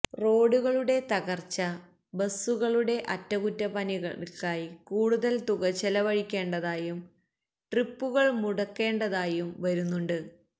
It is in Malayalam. റോഡുകളുടെ തകര്ച്ച ബസുകളുടെ അറ്റകുറ്റപ്പണികള്ക്കായി കൂടുതല് തുക ചെലവഴിക്കേണ്ടതായും ട്രിപ്പുകള് മുടക്കേണ്ടതായും വരുന്നുണ്ട്